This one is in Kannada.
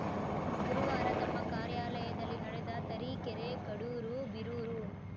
ಗುರುವಾರ ತಮ್ಮ ಕಾರ್ಯಾಲಯದಲ್ಲಿ ನಡೆದ ತರೀಕೆರೆ ಕಡೂರು ಬೀರೂರು